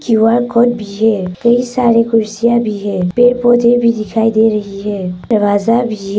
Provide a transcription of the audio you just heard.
QR code भी है कई सारे कुर्सियां भी है पेड़ पौधे भी दिखाई दे रही हैं दरवाजा भ--